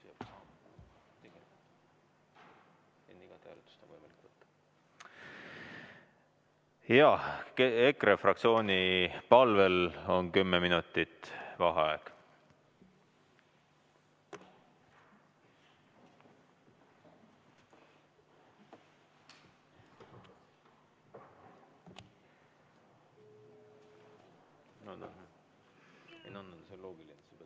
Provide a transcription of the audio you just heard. Jaa, EKRE fraktsiooni palvel on kümme minutit vaheaega.